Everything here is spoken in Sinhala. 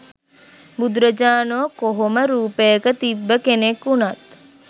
බුදුරජාණෝ කොහොම රූපයක තිබ්බ කෙනෙක් උනත්.